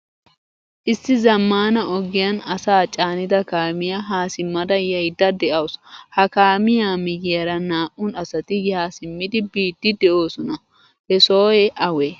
Issi zammaana ogiyan asaa caanida kaamiyaa ha simmada yayida deawusu. Ha kaamiyaa miyiyaara naa'u asati yaa simmidi biidi desona. Hsohoy awe?